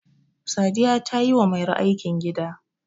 sadiya ta yi wa mairo aikin gida